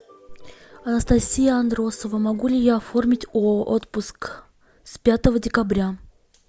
анастасия андросова могу ли я оформить отпуск с пятого декабря